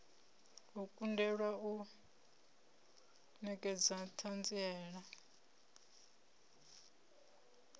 u kundelwa u nekedza thanziela